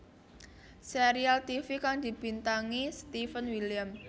Serial tivi kang dibintangi Steven William